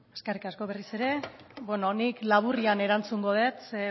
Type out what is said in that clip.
eskerrik asko berriz ere bueno nik laburrean erantzungo det ze